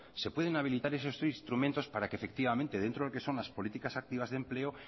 se pueden habilitar esos tres instrumentos para que efectivamente dentro de lo que son las políticas activas de empleo